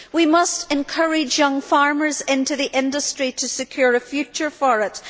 We must encourage young farmers into the industry to secure a future for it.